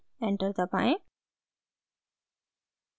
enter दबाएं